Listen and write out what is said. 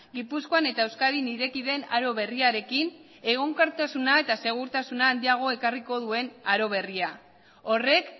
gipuzkoan eta euskadin ireki den aro berriarekin egonkortasuna eta segurtasun handiagoa ekarriko duen aro berria horrek